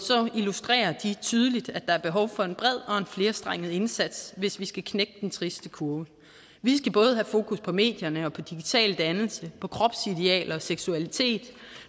illustrerer de tydeligt at der er behov for en bred og en flerstrenget indsats hvis vi skal knække den triste kurve vi skal både have fokus på medierne og på digital dannelse på kropsidealer og seksualitet